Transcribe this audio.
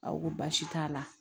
Aw ko baasi t'a la